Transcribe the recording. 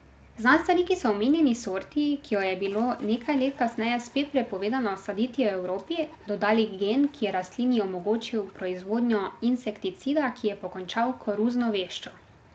Znanstveniki so omenjeni sorti, ki jo je bilo nekaj let kasneje spet prepovedano saditi v Evropi, dodali gen, ki je rastlini omogočil proizvodnjo insekticida, ki je pokončal koruzno veščo.